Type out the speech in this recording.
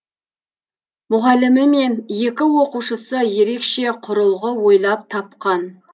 мұғалімі мен екі оқушысы ерекше құрылғы ойлап тапқан